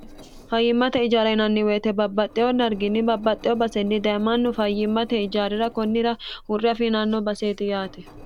fayyimmate ijaari yinanni woyite babbaxxeho darginni babbaxxeho basenni daye mannu fayyimmate ijaarira konnira hurre afiiranno basseti yaate